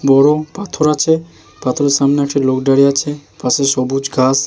নরম পাথর আছে। পাথরের সামনে আছে লোক দাঁড়িয়ে আছে। পাশে সবুজ ঘাস।